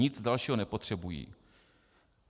Nic dalšího nepotřebují.